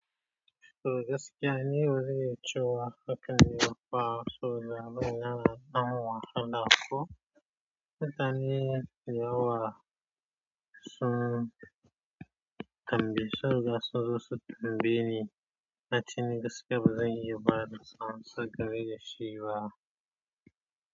To gaskiya ne waje yaciwa haka kan yi wahala so labarai na na wahala ko. Dan iya wasu tambayar da sun zo su tambaye ni, na ce gaskiya ba zan iya ba da amsa gare shi ba.